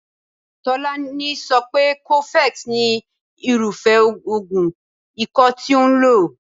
Tolani so pé cofex ni irúfé oògùn ikọ́ tí òun lò.